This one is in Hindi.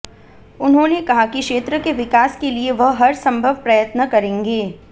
उन्होंने कहा कि क्षेत्र के विकास के लिए वह हरसंभव प्रयत्न करेंगे